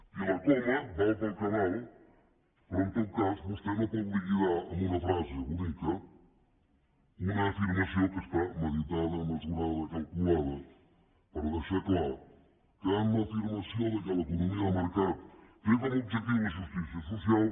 i la coma val per al que val però en tot cas vostè no pot liquidar amb una frase bonica una afirmació que està meditada mesurada calculada per deixar clar que en l’afirmació que l’economia de mercat té com a objectiu la justícia social